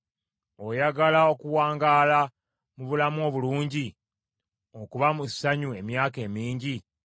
Oyagala okuwangaala mu bulamu obulungi, okuba mu ssanyu emyaka emingi?